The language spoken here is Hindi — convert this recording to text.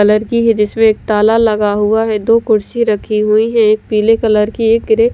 कलर की है जिसमें एक ताला लगा हुआ है दो कुर्सी रखी हुई है एक पीले कलर की एक ग्रे --